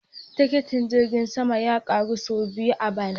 Tikitin jirgin sama ya karu sau biyu a bana